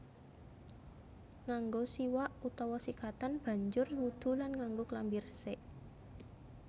Nganggo siwak utawa sikatan banjur wudhu lan nganggo klambi resik